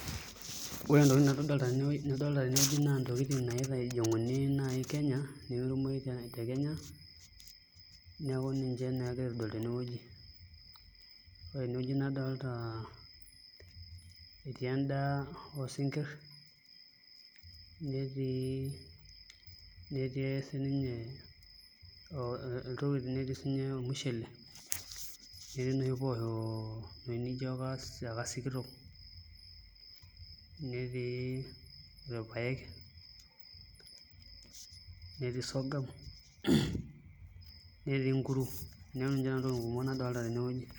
Ore naa entokinidolta tenewueji naa ntokitin naitijing'uni naai Kenya neeku ninche naa egirai aitodolu tenewueji ore tenewueji nadolta etii endaa oosinkirr netii netii siinye ormushele netii inoshi poosho inoshi nijio aka sikitok netii irpaek, netii sorghum netii nkuru, neeku ninche nanu ntokitin kumok nadolta tenewueji.